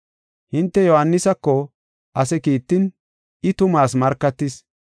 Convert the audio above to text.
“Hinte Yohaanisako ase kiittin I tumaas markatis.